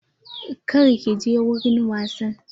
Kar ki je wurin wasan!